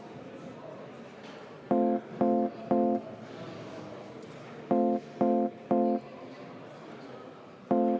Head ametikaaslased!